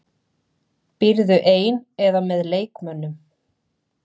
Býrðu ein eða með leikmönnum?